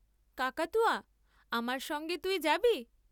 কাকাতুয়া, আমার সঙ্গে তুই যাবি?